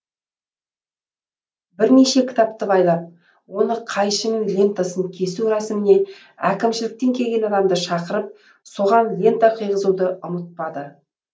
бірнеше кітапты байлап оны қайшымен лентасын кесу рәсіміне әкімшіліктен келген адамды шақырып соған лента қыйғызуды ұмытпады